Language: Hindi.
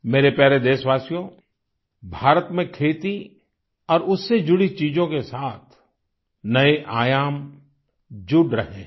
मेरे प्यारे देशवासियों भारत मे खेती और उससे जुड़ी चीजों के साथ नए आयाम जुड़ रहे है